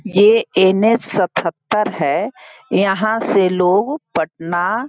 ये इन सतहत्तर है यहाँ से लोग पटना --